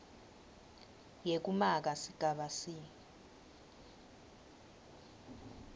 yekumaka sigaba c